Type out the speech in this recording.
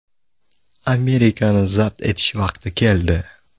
Amerikani zabt etish vaqti keldi.